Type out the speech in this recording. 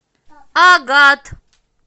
агат